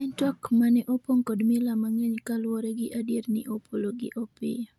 en twak mane opong' kod mila mang'eny koluwore gi adieri ni Opolo gi Opiyo